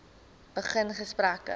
begin gesprekke